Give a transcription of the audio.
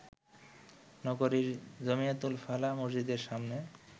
নগরীর জমিয়তুল ফালাহ মসজিদের সামনে